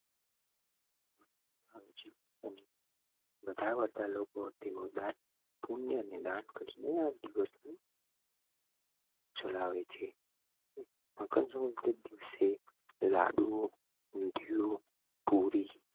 મકર સંક્રાંતિ ના દિવસ લાડુ પુરી